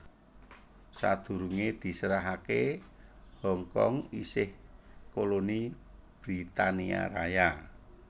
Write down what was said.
Sadurungé diserahaké Hong Kong isih koloni Britania Raya